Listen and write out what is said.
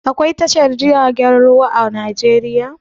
Aƙwai tashar jiragen ruwa a Najeriya?